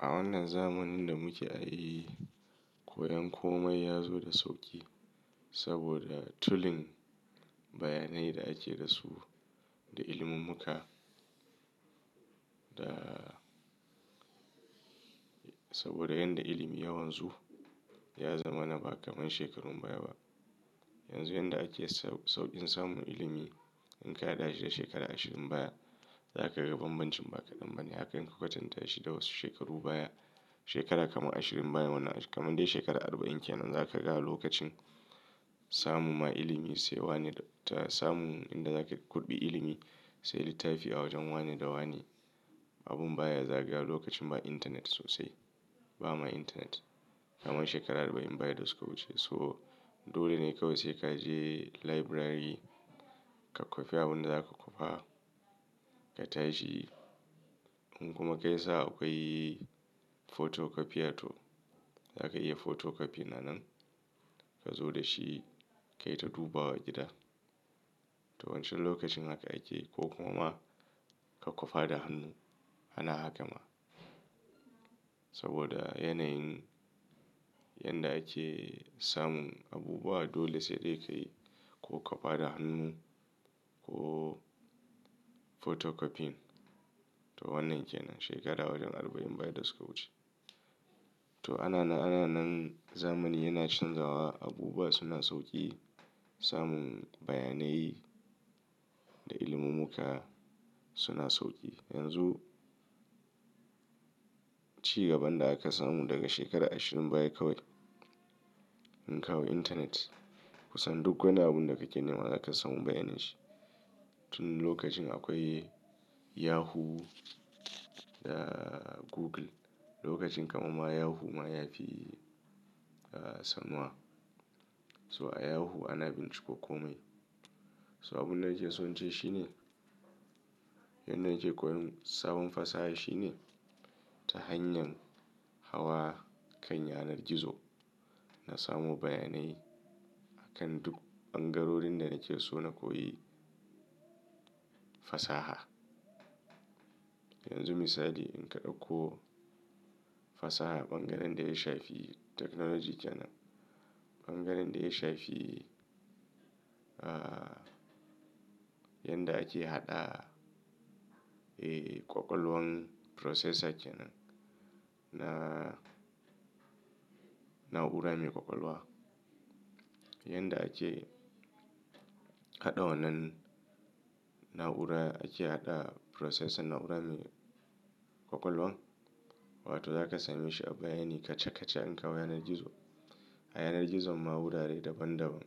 A wannan zamanin da muke a yi, koyon komai ya zo da sauƙi saboda tulin bayanai da ake da su da ilimimmuƙa. Da saboda yadda ilimi ya wanzu, ya zama na ba kamar shekarun baya ba. Yanzu yadda ake sauƙin samun ilimi, in ka haɗa shi da shekaru ashirin baya, za ka ga banbancin ba kaɗan bane. Haka in ka katanta shi da wasu shekaru baya, shekaru kamar ashirin baya wanda kamar dai shekaru arba'in kenan, za ka ga lokacin samun ma ilimi sai wane ta samun inda zaka kurɓi ilimi, sai littafi a wajen wane da wani, abun baya zagawa lokacin ba intanet sosai. Ba ma intanet. Kamar shekaru arba'in baya da suka wuce. So, dole ne kawai sai ka je library ka kwafi abin da zaka kwafa ka tashi. In kuma kai sa'a, akwai photocopier to za ka iya photocopy na nan ka zo da shi ka yi ta dubawa gida. To wancan lokacin haka ake ko kuma ka kwafa da hannu. Ana haka ma. Saboda yanayin yanda ake samun abubuwa dole sai dai ka yi ko kwafa da hannu ko photocopy. To wannan kenan shekara wajen arba'in baya da suka wuce. To ana anan nan zamani yana canzawa, abubuwa suna sauƙi, samun bayanai da ilimimmuƙa suna sauƙi. Yanzu, ci gaban da aka samu daga shekaru ashirin baya kawai, in ka hau intanet kusan duk wani abun da kake nema zaka samu bayanin shi. Tun lokacin akwai Yahoo da Google. Lokacin kamar ma Yahoo ma ya fi, ah, sanuwa. So a Yahoo ana binciko komai. So abin da nake so in ce shine, yanda nake koyon sabon fasaha shine ta hanyar hawa kan yanar gizo na samu bayanai akan duk ɓangarorin da nake so na koyi fasaha. Yanzu misali in ka ɗauko fasaha, ɓangaren da ya shafi technology kenan. Ɓangaren da ya shafi, ah, yadda ake haɗa, eh, ƙwaƙwalwan processor kenan na na'ura mai ƙwaƙwalwa. Yadda ake haɗa wannan na'ura, ake haɗa processor na'ura mai ƙwaƙwalwan. Wato za ka same shi a bayanai kaca kaca in ka hau yanar gizo. A yanar gizon ma wurare daban daban.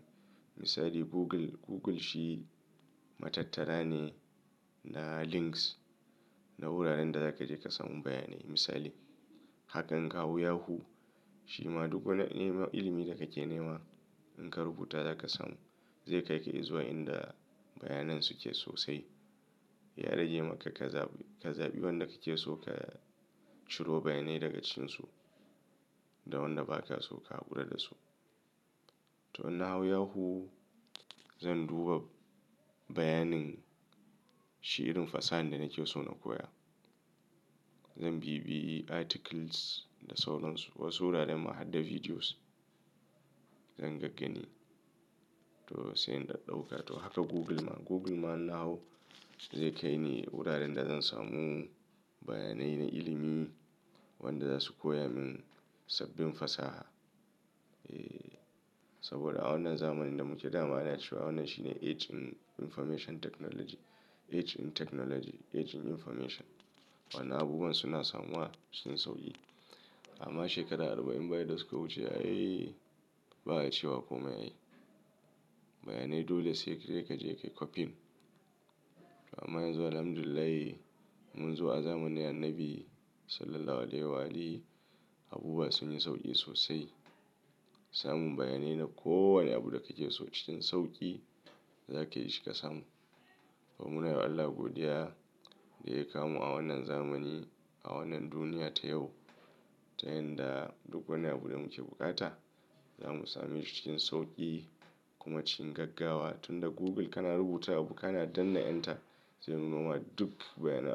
Misali Google, Google shi matattara ne na links na wuraren da za ka je ka samu bayanai. Misali, hakan in ka hau Yahoo shi ma duk wani nema ilimi da kake nema in ka rubuta za ka samu. Zai kai ka izuwa inda bayanan suke sosai. Ya rage maka ka zaɓi, ka zaɓi wanda kake so ka ciro bayanai daga cikinsu da wanda ba ka so ka hakura da su. To in na hau Yahoo, zan duba bayanin shirin fasahan da nake so na koya. Zan biɓiye articles da sauran su. Wasu wuraren ma har da videos zan gaggani. To sai in daɗauka. To haka Google ma. Google ma in na hau zai kai ni wuraren da zan samu bayanai na ilimi wanda za su koya min sabbin fasaha. Eh, saboda a wannan zamanin da muke da ma ana cewa wannan shine age in information technology, age in technology, age in information. Wannan abubuwan suna samuwa cikin sauƙi. Amma shekara arba'in baya da suka wuce ai ba a ce wa komai ai. Bayanai dole sai dai kaje ka kwafin. Amma yanzu Alhamdulillah, mun zo a zamanin Annabi sallalahu alaihi wa alihi abubuwa sun yi sauƙi sosai. Samun bayanai na ko wane abu da kake so cikin sauƙi za ka yi shi ka samu. To muna yi Allah godiya da ya kawo a wannan zamani, a wannan duniya ta yau ta yandaa duk wani abu da muke bukata za mu same shi cikin sauƙi kuma cikin gaggawa. Tun da Google kana rubuta abu kana danna "enter," zai nuna ma duk bayanai.